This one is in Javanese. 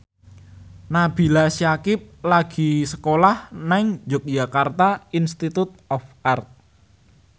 Nabila Syakieb lagi sekolah nang Yogyakarta Institute of Art